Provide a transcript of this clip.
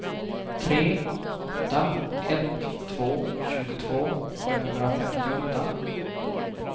tre åtta ett två tjugotvå femhundrafemtioåtta